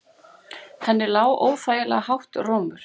Henni lá óþægilega hátt rómur.